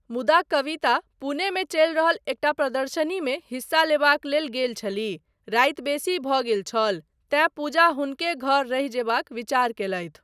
मुदा कविता, पुणे मे चलि रहल एकटा प्रदर्शनीमे हिस्सा लेबाक लेल गेल छलीह, राति बेसी भऽ गेल छल तेँ पूजा हुनके घर रहि जयबाक विचार कयलथि।